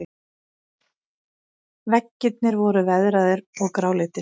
Veggirnir voru veðraðir og gráleitir.